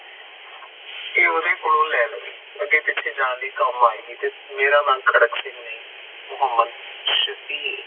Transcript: ਏ ਉਦੇ ਕੋਲ ਲੈ ਲਾਇ ਅਗੇ ਪਿੱਛੇ ਜਾਨ ਲਯੀ ਕਾਮ ਆਏ ਗੀ ਤੇ ਮੇਰਾ ਨਾ ਖੜਕ ਸਿੰਘ ਨਹੀਂ ਮੋਹਮਦ ਸ਼ਾਫੀਏ